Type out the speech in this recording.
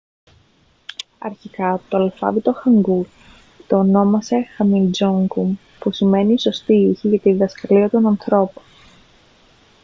αρχικά το αλφάβητο χάνγκουλ το ονόμασε χουμιντζόνγκουμ που σημαίνει «οι σωστοί ήχοι για τη διδασκαλία των ανθρώπων»